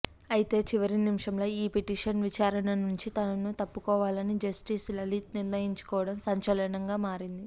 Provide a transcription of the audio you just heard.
అయితే చివరి నిమిషంలో ఈ పిటిషన్ విచారణ నుంచి తాను తప్పుకోవాలని జస్టిస్ లలిత్ నిర్ణయించుకోవడం సంచలనంగా మారింది